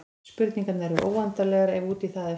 Spurningarnar eru óendanlegar ef út í það er farið.